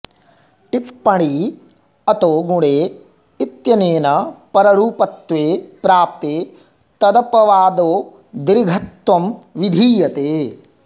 टिप्पणी अतो गुणे इत्यनेन पररूपत्वे प्राप्ते तदपवादो दीर्घत्वं विधीयते